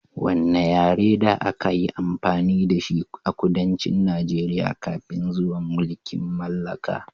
Wanne yare ne da aka yi amfani da shi a kudancin Najeriya kafin zuwan mulkin mallaka?